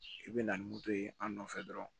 I bɛ na ni moto ye an nɔfɛ dɔrɔn